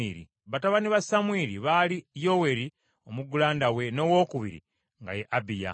Batabani ba Samwiri baali Yoweeri omuggulanda we, n’owokubiri nga ye Abiya.